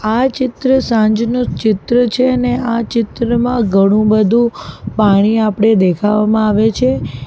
આ ચિત્ર સાંજનુ ચિત્ર છે ને આ ચિત્રમાં ઘણું બધું પાણી આપણે દેખાવામાં આવે છે.